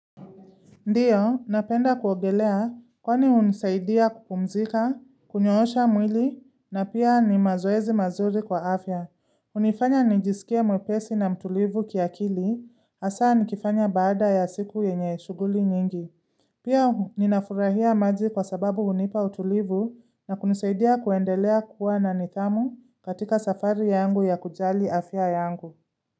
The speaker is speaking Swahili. Ndiyo, napenda kuogelea kwani hunisaidia kupumzika, kunyoosha mwili na pia ni mazoezi mazuri kwa afya. Hunifanya nijisikie mwepesi na mtulivu kiakili, hasa nikifanya baada ya siku yenye shughuli nyingi. Pia ninafurahia maji kwa sababu hunipa utulivu na kunisaidia kuendelea kuwa na nidhamu katika safari yangu ya kujali afya yangu.